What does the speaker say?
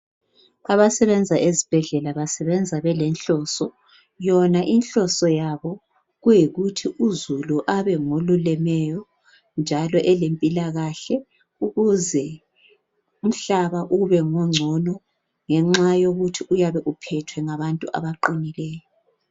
Kwabasebenza ezibhedlela basebenza belenhloso. Yona inhloso yabo kuyikuthi uzulu abe ngolulemeyo njalo elempilakahle ukuze umhlaba ubengongcono ngenxa yokuthi uyabe uphethwe ngabantu abaqinileyo.